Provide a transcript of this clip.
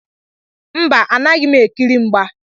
Mba, anaghị m ekiri mgba.